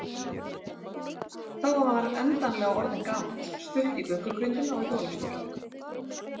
Þá var maður endanlega orðinn gamall, stutt í göngugrindina og hjólastólinn.